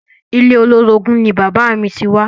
Ilé olórogún ni bàbáà mi ti wá.